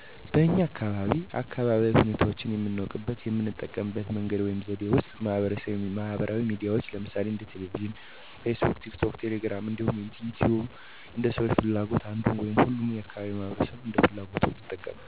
በኛ አካባቢ አካባቢያዊ ሁኔታዎችን የምናውቅበት የምንጠቀምበት መንገድ ወይም ዘዴ ውስጥ ማህበራዊ ሚዲያዎችን ለምሳሌ እንደ ቴሌቪዥን: ፌስቡክ: ቲክቶክ: ቴሌግራም እንዲሁም ዩቲዩብን እንደ ሰዎች ፍላጎት አንዱን ወይም ሁሉንም የአካባቢው ማህበረሰብ እንደ ፍላጎቱ ይጠቀማል። አብዛው ማህበረሰብ ግን በገጠርም ይሁን በከተማ በቀላሉ ተደራሽ የሆነው ራዲዮ በሁሉም አካባቢ ተመራጭ እና ተደራሽ በመሆኑ ራዲዮ በሰፊው ጥቅም ላይ የሚውል ነው። ምክንያቱም አብዛኛው አካባቢ ሞባይል ወይም የእጅ ስልክ ለምሳሌ ስማርት ስልክ ወይም ተች ስክሪን እና ጠቃጠቆ ወይም የቁጥር ስልክ በብዛት በሁሉም አካባቢ ስለሚገኝ ራዳዮ ለመጠቀም እና ስለ ሀገሩም ስለ አካባቢው በሰፊው የመረጃ ምንጭ የሚገኝበት ነው።